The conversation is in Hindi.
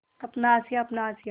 अपना आशियाँ अपना आशियाँ